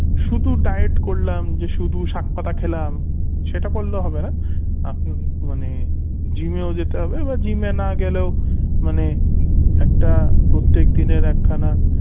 শুধু diet করলাম যে শুধু শাকপাতা খেলাম সেটা করলে হবেনা আপনার মানে gym এ যেতে হবে বা gym এ না গেলেও মানে একটা প্রত্যেকদিনের একখানা